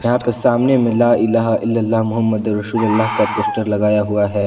यहां पे सामने में लाइलाह इल्लल्लाह मोहम्मद उर रसूलुल्लाह का पोस्टर लगाया हुआ है।